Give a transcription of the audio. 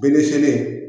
Bin siɲɛni